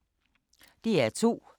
DR2